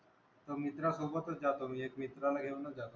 आता मित्रासोबतच जातो मी. एक मित्राला घेऊनच जातो.